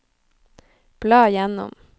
bla gjennom